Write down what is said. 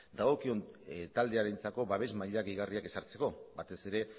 dagokion taldearentzako babes maila gehigarriak ezartzeko batez ere